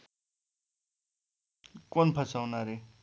कोण फसवणारे?